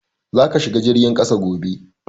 Za ka shiga jirgin kasa gobe!